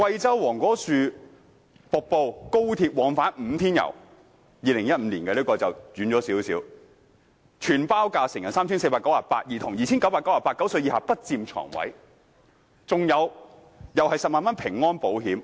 這個旅行團在2015年舉辦，時間上較久遠，全包價為成人 3,498 元、兒童 2,998 元，另有10萬元平安保險。